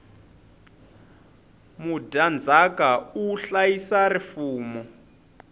mudyandzaka u hlayisa rifumo